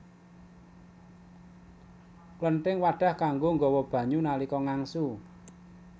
Klenthing wadhah kanggo nggawa banyu nalika ngangsu